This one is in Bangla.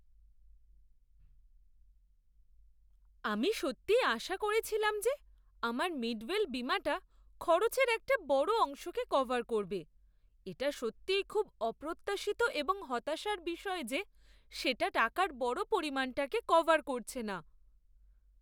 আমি সত্যিই আশা করছিলাম যে আমার মিডওয়েল বীমাটা খরচের একটা বড় অংশকে কভার করবে। এটা সত্যিই খুব অপ্রত্যাশিত এবং হতাশার বিষয় যে সেটা টাকার বড় পরিমাণটাকে কভার করছে না।